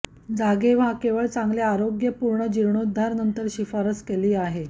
जागे व्हा केवळ चांगले आरोग्य पूर्ण जीर्णोद्धार नंतर शिफारस केली आहे